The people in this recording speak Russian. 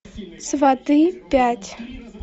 сваты пять